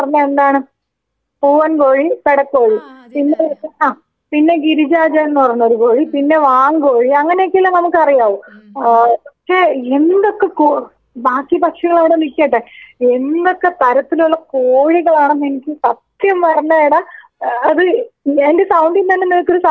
പൂവൻകോഴി, പെടക്കോഴി പിന്നെ ആ പിന്നെ ഗിരിരാജൻ എന്നു പറഞ്ഞൊരു കോഴി, പിന്നെ വാങ്കോഴി, അങ്ങനെയൊക്കെയല്ലേ നമുക്കറിയാവൂ ആ ആ ഒക്കെ എന്തൊക്കെ കോ ബാക്കി പക്ഷികളവിടെ നിക്കട്ടെ എന്തൊക്കെ തരത്തിലുള്ള കോഴികളാണന്നെനിക്ക് സത്യം പറഞ്ഞാ എടാ ഏ അത് എന്റെ സൗണ്ടുന്നന്നെ നിനക്കൊരു സന്തോഷം ഫീലീയ്യ്ണില്ലേ.